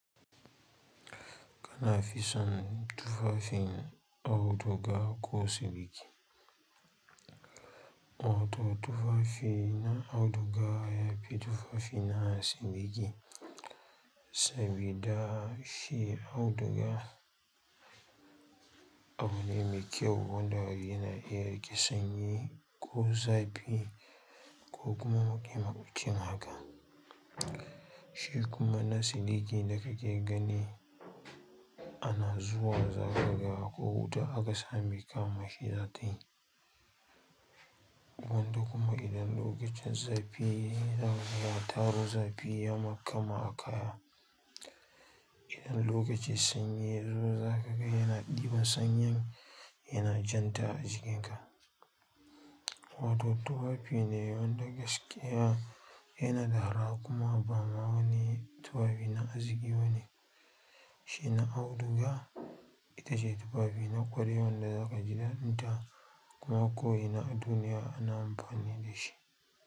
Kana fi son tufafin auduga ko siliki. Wato tufafi na auduga yafi tufafi na siliki, sabida shi auduga abu ne me kyau wanda yana iya riƙe sanyi ko zafi, ko kuma muƙamiƙi haka. Shi kuma na siriki da kake gani ana zuwa za ka ga ko wuta aka samai kama shi zata yi. Wato kuma idan lokacin zafi ya yi, za ka ga ya taro zafi ya makama a kaya. Idan lokacin sanyi ya zo za ka ga yana ɗiban sanyin yana janta a jikinka. Wato tufafi ne wanda gaskiya yana da arha kuma ba wani tufafi na arziƙi bane. Shi na auduga ita ce tufafi na ƙwarai wanda za ka ji ɗaɗinta kuma ko ina a duniya ana amfani da shi.